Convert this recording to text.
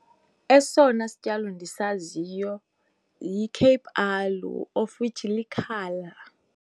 Esona sityalo ndisaziyo yi-Cape aloe, of which likhala.